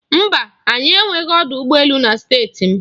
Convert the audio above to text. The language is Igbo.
Mba, anyị enweghị ọdụ ụgbọ elu na Steeti m.